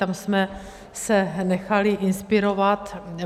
Tam jsme se nechali inspirovat.